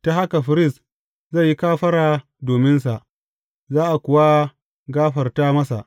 Ta haka firist zai yi kafara dominsa, za a kuwa gafarta masa.